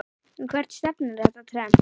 En hvert stefnir þetta trend?